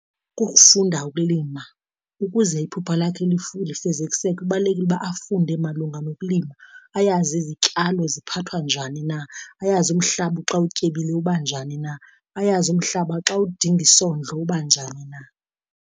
Kukufunda ukulima ukuze iphupha lakhe lifezekiseke. Kubalulekile uba afunde malunga nokulima, ayazi izityalo ziphathwa njani na, ayazi umhlaba xa utyebile uba njani na, ayazi umhlaba xa udinga isondlo uba njani na.